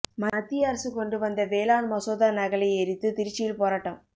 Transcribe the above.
மத்திய அரசு கொண்டு வந்த வேளாண் மசோதா நகலை எரித்து திருச்சியில் போராட்டம்